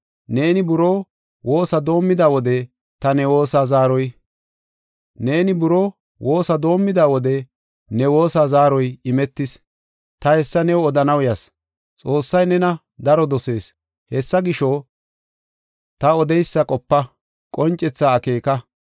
Neeni buroo woosa doomida wode ne woosa zaaroy imetis; ta hessa new odanaw yas. Xoossay nena daro dosees. Hessa gisho, ta odeysa qopa; qoncethaa akeeka.